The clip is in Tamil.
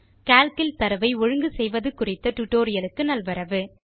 கால்க் இல் தரவை ஒழுங்கு செய்வது குறித்த டியூட்டோரியல் க்கு நல்வரவு